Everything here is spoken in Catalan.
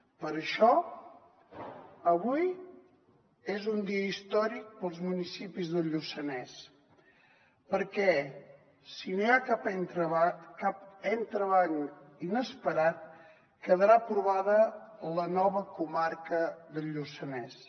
per això avui és un dia històric per als municipis del lluçanès perquè si no hi ha cap entrebanc inesperat quedarà aprovada la nova comarca del lluçanès